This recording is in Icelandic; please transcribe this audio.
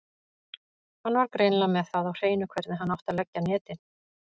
Hann var greinilega með það á hreinu hvernig hann átti að leggja netin.